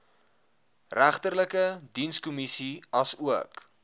regterlike dienskommissie asook